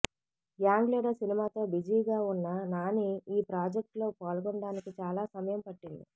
gang leader సినిమాతో బిజీగా ఉన్న నాని ఈ ప్రాజెక్ట్ లో పాల్గొనడానికి చాలా సమయం పట్టింది